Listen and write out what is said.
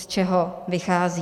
Z čeho vychází.